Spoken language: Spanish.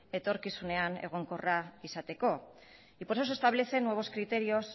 etorkizunean egonkorra izateko y por eso se establece nuevos criterios